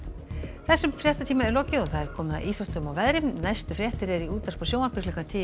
þessum fréttatíma er lokið og komið að íþróttum og veðri næstu fréttir eru í útvarpi og sjónvarpi klukkan tíu